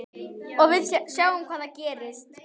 Og við sjáum hvað gerist.